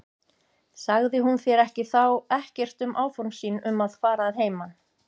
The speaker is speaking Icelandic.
Sagði hún þér þá ekkert um áform sín um að fara að heiman?